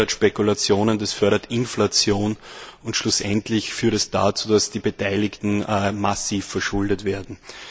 Das fördert Spekulationen, das fördert Inflation und schlussendlich führt es dazu, dass die Beteiligten massiv verschuldet werden.